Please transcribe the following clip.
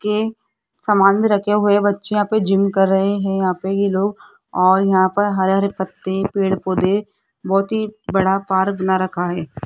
के समाज मे रखे हुए बच्चे यहाँ पे जिम कर रहे हैं यहां पे ये लोग और यहां पे हरे हरे पत्ते पेड़ पौधे बहोत ही बड़ा पार्क बना रखा है।